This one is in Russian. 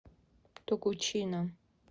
тогучина